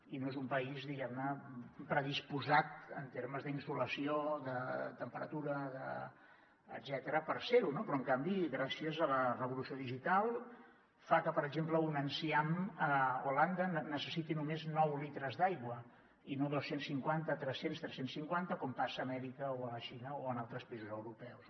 i no és un país diguem ne predisposat en termes d’insolació de temperatura etcètera per ser ho no però en canvi gràcies a la revolució digital fa que per exemple un enciam a holanda necessiti només nou litres d’aigua i no dos cents i cinquanta tres cents tres cents i cinquanta com passa a amèrica o a la xina o en altres països europeus